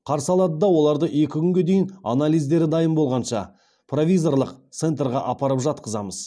қарсы алады да оларды екі күнге дейін анализдері дайын болғанша провизорлық центрға апарып жатқызамыз